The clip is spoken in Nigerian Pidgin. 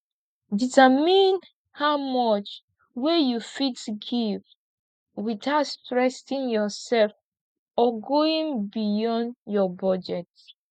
determine how much wey you fit give without stressing yourself or going beyound your budget